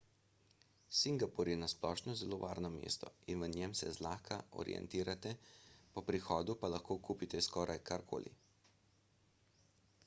singapur je na splošno zelo varno mesto in v njem se zlahka orientirate po prihodu pa lahko kupite skoraj karkoli